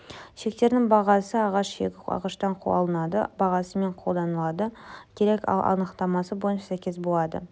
шектердің бағасы ағаш шегі ағаштан алынады бағасымен таңдалу керек ал анықтамасы бойынша сәйкес болады